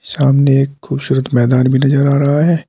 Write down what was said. सामने एक खूबसूरत मैदान भी नजर आ रहा है।